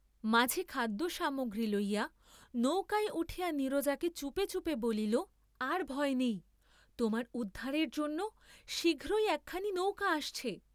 মাঝি খাদ্য সামগ্রী লইয়া নৌকায় উঠিয়া নীরজাকে চুপে চুপে বলিল আর ভয় নেই, তোমার উদ্ধারের জন্য শীঘ্রই একখানি নৌকা আসছে।